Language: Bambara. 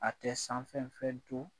A tɛ sanfɛ fɛn to